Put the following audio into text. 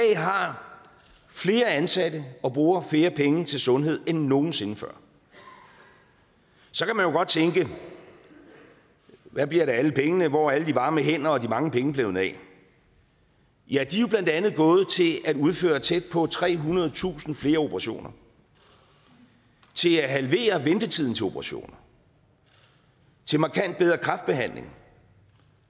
flere ansatte og bruger flere penge til sundhed end nogen sinde før så kan man jo godt tænke at hvad bliver der af alle pengene og hvor er alle de varme hænder og de mange penge blevet af ja de er jo blandt andet gået til at udføre tæt på trehundredetusind flere operationer til at halvere ventetiden til operationer til markant bedre kræftbehandling